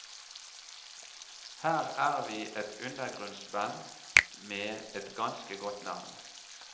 Her er vi et undergrunnsband med et ganske godt navn.